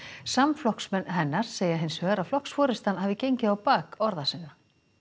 samflokksmenn hennar segja að flokksforystan hafi gengið á bak orða sinna